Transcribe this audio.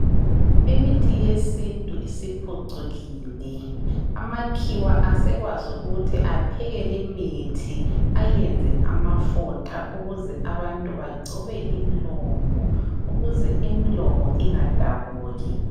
Imithi yesintu isiphucukile. Amakhiwa asekwazi ukuthi apheke limithi ayenze amafutha ukuze abantu bagcobe imlomo ukuze imlomo ingadabuki.